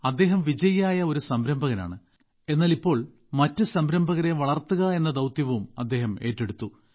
അദ്ദേഹം വിജയിയായ ഒരു സംരംഭകനാണ് എന്നാൽ ഇപ്പോൾ മറ്റു സംരംഭകരെ വളർത്തുക എന്ന ദൌത്യവും അദ്ദേഹം ഏറ്റെടുത്തു